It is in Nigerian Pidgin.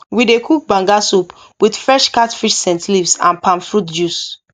we dey cook banga soup with fresh catfish scent leaves and palm fruit juice